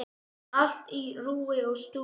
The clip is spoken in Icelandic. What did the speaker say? Allt á rúi og stúi.